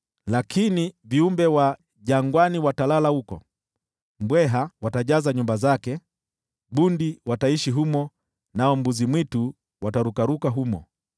Lakini viumbe wa jangwani watalala huko, mbweha watajaza nyumba zake, bundi wataishi humo nao mbuzi-mwitu watarukaruka humo.